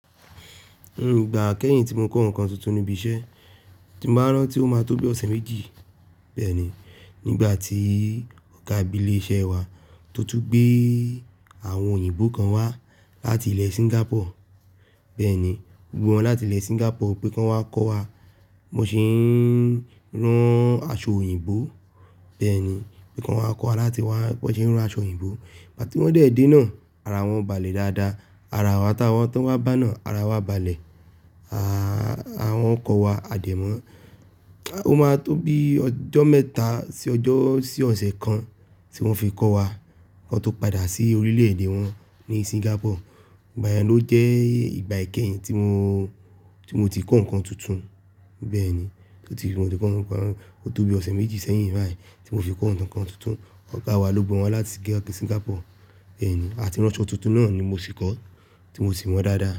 Nígbà kẹ́yìn tí mo kọ́ ǹkan tuntun níbi iṣẹ́, tí m bá rán tí ó máa tó bí ọ̀sẹ̀ méjì. Bẹ́ẹ̀ ni, nígbà tí ọ̀gá ìbílẹ̀ iṣẹ́ wa tó tún gbé àwọn òyìnbó kan wá láti ilẹ̀ Singapore. Bẹ́ẹ̀ ni, gbogbo wọn láti ilẹ̀ Singapore pé kọ́n wá kọ́ wa bó ṣe ń rán aṣọ òyìnbó. Bẹ́ẹ̀ ni, pé kọ́n wá kọ́ wa láti wàá bo n ṣe ń rán aṣọ òyìnbó. Ìgbà tí wọ́n dé dé náà, ara wọn balẹ̀ dáadáa. Ara awa t'owọn bá náà, ara wa balẹ̀. Àwọn kọ́ wa adimọ́ọ́. Ó máa tó bí ọjọ́ mẹ́ta sí ọjọ́ sí ọ̀sẹ̀ kan tí wọ́n fi kọ́ wa, kọn tó padà sí orílẹ̀-èdè wọn ní Singapore. Ìgbà yẹn ló jẹ́ ìgbà ìkẹ́yìn tí mo, tí mo ti kọ́ ǹkan tuntun. Bẹ́ẹ̀ ni, tí mo ti kọ́ ǹkan, ó tó bí ọ̀sẹ̀ méjì sẹ́yìn bayií tí mo fi kọ́ ǹkan tuntun. Ọ̀gá wa ló gbé wọn wá láti Singapore. Bẹ́ẹ̀ ni, àti ránṣọ tuntun náà ni mo fi kọ́, tí mo sì mọ̀ dáadáa.